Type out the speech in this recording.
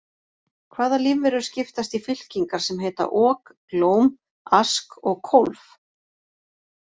Hvaða lífverur skiptast í fylkingar sem heita ok, glóm, ask og kólf?